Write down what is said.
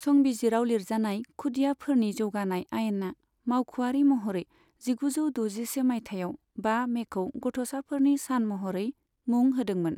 संबिजिराव लिरजानाय खुदियाफोरनि जौगानाय आयेना मावख'आरि महरै जिगुजौ दजिसे माइथायाव बा मेखौ गथ'साफोरनि सान महरै मुं होदोंमोन।